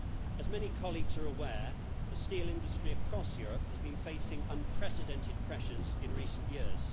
As many colleagues are aware, the steel industry across Europe has been facing unprecedented pressures in recent years.